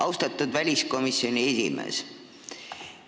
Austatud väliskomisjoni esimees!